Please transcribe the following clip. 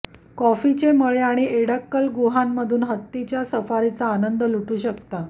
कॉफीचे मळे आणि एडक्कल गुहांमधून हत्तीच्या सफारीचा आनंद लुटू शकता